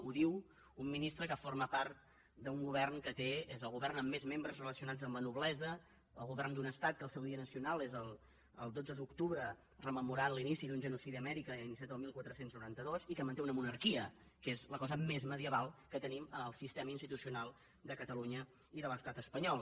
ho diu un ministre que forma part d’un govern que té que és el govern amb més membres relacionats amb la noblesa el govern d’un estat que el seu dia nacional és el dotze d’octubre rememorant l’inici d’un genocidi a amèrica iniciat el catorze noranta dos i que manté una monarquia que és la cosa més medieval que tenim en el sistema institucional de catalunya i de l’estat espanyol